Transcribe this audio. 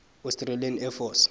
australian air force